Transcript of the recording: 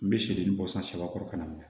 N bɛ sedani bɔ san saba kɔrɔ ka na